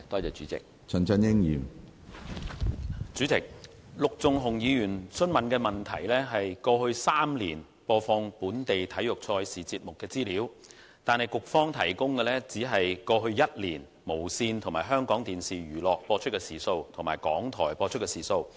主席，陸頌雄議員提出的質詢，是有關過去3年播放本地體育賽事節目的資料，但是，局方只提供過去1年無綫電視、香港電視娛樂及港台播放體育節目的時數。